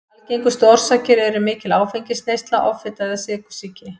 Algengustu orsakir eru mikil áfengisneysla, offita eða sykursýki.